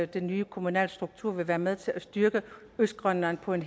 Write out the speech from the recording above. den nye kommunalstruktur vil være med til at styrke østgrønland på en